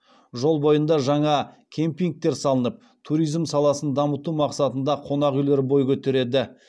жол бойында жаңа кемпингтер салынып туризм саласын дамыту мақсатында қонақүйлер бой көтереді